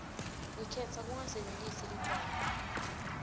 ngikhetsa kungasebentisi ligwayi